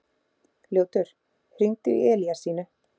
Ljótur, hringdu í Elíasínu.